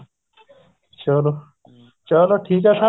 ਚਲੋ ਚਲੋ ਠੀਕ ਹੈ sir